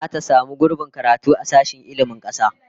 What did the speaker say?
Zata samu gurbin karatu a sashen ilmin kasa